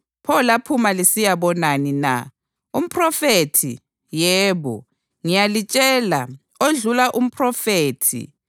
Pho laphuma lisiyabonani na? Umphrofethi? Yebo, ngiyalitshela, odlula umphrofethi.